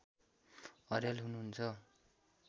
अर्याल हुनुहुन्छ